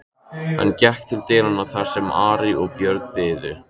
Hann gekk til dyranna þar sem Ari og Björn biðu.